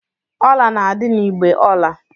Jewelries are kept in the jewelry box.